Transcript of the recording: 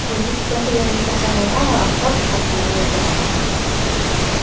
O‘zbekistonda yangi shaharlararo avtobus qatnovi yo‘lga qo‘yiladi.